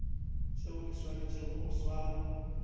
tšeo di swanetšego go swarwa